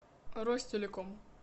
ростелеком